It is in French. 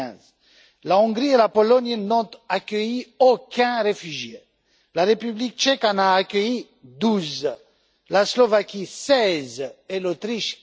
2015. La Hongrie et la Pologne n'ont accueilli aucun réfugié, la République tchèque en a accueilli 12, la Slovaquie 16 et l'Autriche